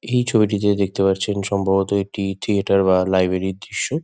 এই ছবিটিতে দেখতে পারছেন সম্ভবত একটি থিয়েটার বা লাইব্রেরি -র দৃশ্য।